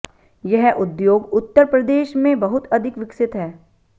यह उद्योग उत्तर प्रेदश में बहुत अधिक विकसित है